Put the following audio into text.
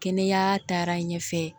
Kɛnɛya taar'a ɲɛfɛ